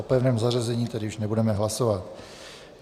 O pevném zařazení tedy už nebudeme hlasovat.